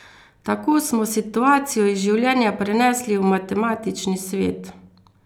Tako smo situacijo iz življenja prenesli v matematični svet.